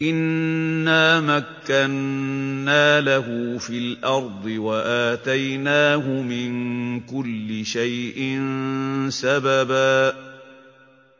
إِنَّا مَكَّنَّا لَهُ فِي الْأَرْضِ وَآتَيْنَاهُ مِن كُلِّ شَيْءٍ سَبَبًا